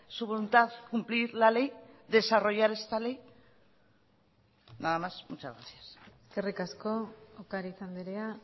su voluntad cumplir la ley desarrollar esta ley nada más muchas gracias eskerrik asko ocariz andrea